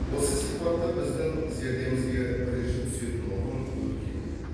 осы сипатта біздің зердемізге бірінші түсетін ұғым өркениет